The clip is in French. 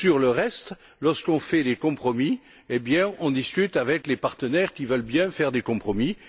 Sur le reste, lorsqu'on fait des compromis, on discute avec les partenaires qui veulent bien faire des compromis.